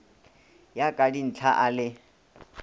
ya ka dinthla a le